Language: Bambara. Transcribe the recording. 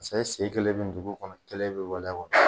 Paseke e sen kelen bɛ dugu kɔnɔ kelen bɛ waleya kɔnɔ